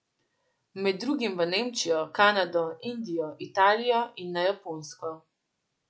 Med drugim v Nemčijo, Kanado, Indijo, Italijo in na Japonsko.